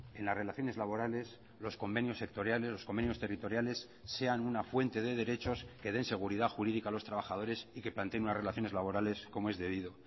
en las relaciones laborales los convenios sectoriales los convenios territoriales sean una fuente de derechos que den seguridad jurídica a los trabajadores y que planteen unas relaciones laborales como es debido